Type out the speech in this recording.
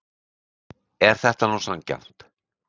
Er þetta nú sanngjarnt?